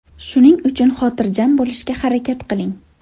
Shuning uchun xotirjam bo‘lishga harakat qiling.